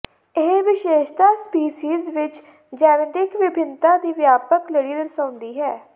ਇਹ ਵਿਸ਼ੇਸ਼ਤਾ ਸਪੀਸੀਜ਼ ਵਿੱਚ ਜੈਨੇਟਿਕ ਵਿਭਿੰਨਤਾ ਦੀ ਵਿਆਪਕ ਲੜੀ ਦਰਸਾਉਂਦੀ ਹੈ